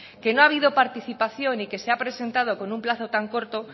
que no ha habido participación y que se ha presentado con un plazo tan corto